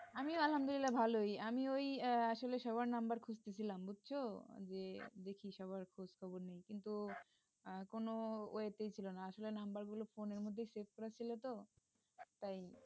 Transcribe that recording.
আমিও আলহামদুলিল্লাহ ভালই আমি ওই আসলে সবার নাম্বার খুঁজছিলাম বুঝছ যে দেখি সবার খোঁজখবর নেই কিন্তু কোন ইয়ে তেই ছিল না আসলে নাম্বার গুলো phone এর মধ্যে সেভ করা ছিল তো তাই।